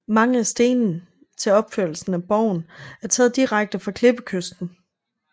Mange af stenene til opførslen af borgen er taget direkte fra klippekysten